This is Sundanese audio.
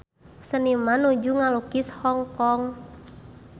Seniman nuju ngalukis Hong Kong